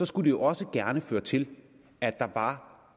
skulle det jo også gerne føre til at der var